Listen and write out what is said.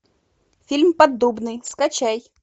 фильм поддубный скачай